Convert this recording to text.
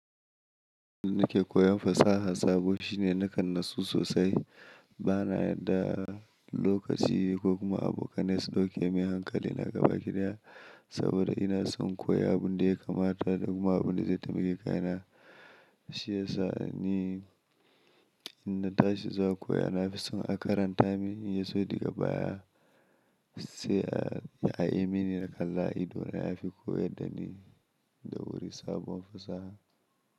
Ni ke koyan fasaha sabo shine nakan nasu sosai. Bana da lokaci ko kuma abokanai su ɗauke mun hankali na gabaki ɗaya, saboda ina son koya abin da ya kamata da kuma abin da zai taimaki kaina. Shi yasa ni in na tashi za a koya. Na fi son a karanta min, in yaso diga baya sai a yi mini na kalla ido na ya fi koyar da ni da wuri sabon fasaha.